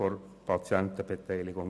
Den Eventualantrag Haas lehnen wir ab.